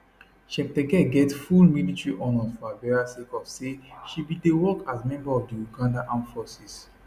cheptegei get full military honours for her burial sake of say she bin dey work as member of di ugandan armed forces